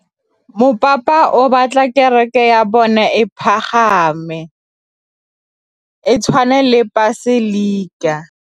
Mopapa o batla kereke ya bone e pagame, e tshwane le paselika.